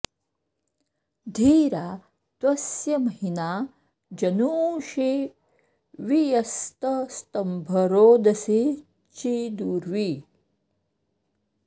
धीरा त्वस्य महिना जनूंषि वि यस्तस्तम्भ रोदसी चिदुर्वी